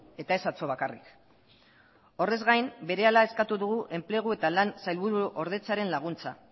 eta ez atzo bakarrik horrez gain berehala eskatu dugu enplegu eta lan sailburuordetzaren laguntza